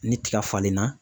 Ni tiga falenna